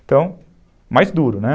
Então, mais duro, né?